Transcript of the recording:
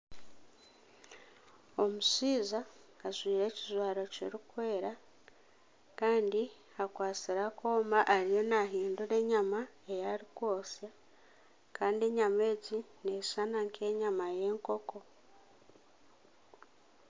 Omushaija ajwire ekijwaro kirikwera Kandi akwastire akooma ariyo nahindura enyama eyari kwosya Kandi enyama egi neshushana nk'enyama y'enkoko.